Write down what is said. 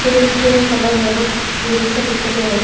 Field green colour है but clean से दिखाई दे रहा है।